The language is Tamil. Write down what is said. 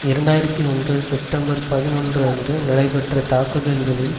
இரண்டு ஆயிரத்தி ஒன்று செப்டம்பர் பதினொன்று அன்று நடைபெற்ற தாக்குதல்களில்